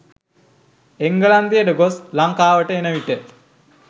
එංගලන්තයට ගොස්‌ ලංකාවට එනවිට